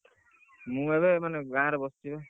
ମୁଁ ଏବେ ମାନେ ଗାଁ ରେ ବସଚି, ବା,